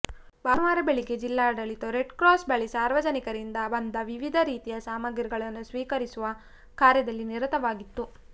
ಭಾನುವಾರ ಬೆಳಿಗ್ಗೆ ಜಿಲ್ಲಾಡಳಿತವು ರೆಡ್ಕ್ರಾಸ್ ಬಳಿ ಸಾರ್ವಜನಿಕರಿಂದ ಬಂದ ವಿವಿಧ ರೀತಿಯ ಸಾಮಗ್ರಿಗಳನ್ನು ಸ್ವೀಕರಿಸುವ ಕಾರ್ಯದಲ್ಲಿ ನಿರತವಾಗಿತ್ತು